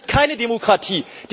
Das ist keine Demokratie!